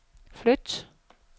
flyt